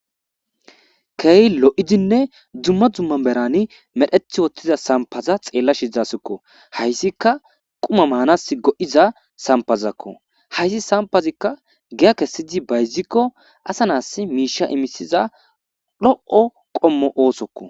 keehi lo7idinne dumma dumma merani medhethi wottiza sampaza xeella shidasikko hayssika quma maanas go7iza sampazakko hayssi sampazikka giya kesidi bayzikko asa naas miisha imisiza dho7o qommo oosokko